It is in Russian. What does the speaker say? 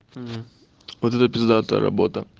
мм вот это пиздатая работа